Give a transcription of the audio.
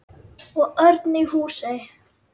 Og Örn í Húsey.